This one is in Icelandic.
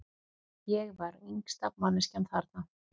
Ég var yngsta manneskjan þarna.